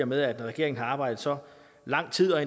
med at når regeringen har arbejdet så lang tid og